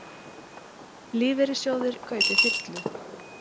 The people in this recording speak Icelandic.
Lífeyrissjóðir kaupi þyrlu